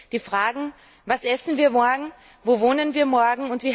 Die Fragen Was essen wir morgen?, Wo wohnen wir morgen?